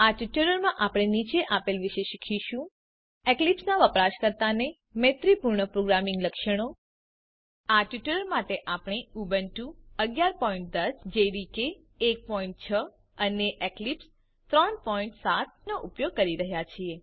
આ ટ્યુટોરીયલમાં આપણે નીચે આપેલ વિશે શીખીશું એક્લીપ્સનાં વપરાશકર્તાને મૈત્રીપૂર્ણ પ્રોગ્રામિંગ લક્ષણો આ ટ્યુટોરીયલ માટે આપણે ઉબુન્ટુ 110 જેડીકે 16 અને એક્લીપ્સ 370 વાપરી રહ્યા છીએ